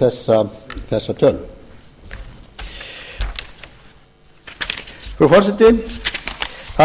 þessa tölur frú forseti það má